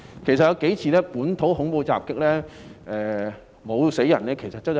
其實，最近數次本土恐怖襲擊中沒有人死亡，是走運。